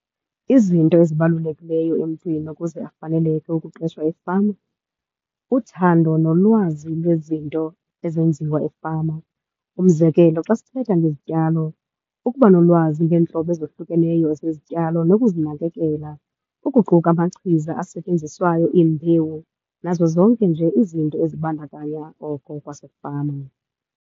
Izinto ezibalulekileyo emntwini ukuze afaneleke ukuqeshwa efama, uthando nolwazi lwezinto ezenziwa efama. Umzekelo xa sithetha ngezityalo, ukuba nolwazi ngeentlobo ezohlukeneyo zezityalo nokuzinakekela, ukuquka amachiza asetyenziswayo, iimbewu, nazo zonke nje izinto ezibandakanya oko kwasefama.